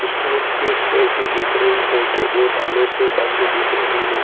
इसमें एक पेटी दिख रही है जो दो तालों से बंद दिख रही है।